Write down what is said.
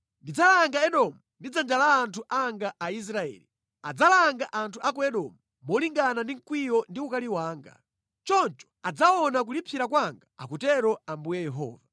Ndidzalanga Edomu ndi dzanja la anthu anga Aisraeli. Adzalanga anthu a ku Edomu molingana ndi mkwiyo ndi ukali wanga. Choncho adzaona kulipsira kwanga akutero Ambuye Yehova.’ ”